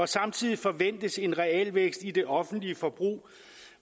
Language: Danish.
samtidig forventes en realvækst i det offentlige forbrug